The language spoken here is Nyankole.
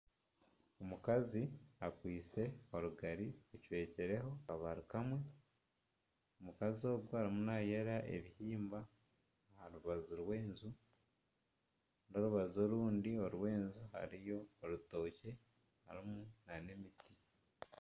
Omukazi akwatsire orugari rucwekireho akabari kamwe omukazi ogu arimu nayera ebihimba aharubaju rw'enju n'orubaju orundi hariyo orutookye nana emiti.